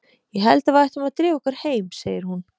Ég held að við ættum að drífa okkur heim, segir hún.